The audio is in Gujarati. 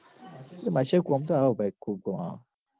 એટલ બાદશાહ કોમ તો આવ ભઈ ખુબ કોમ આવ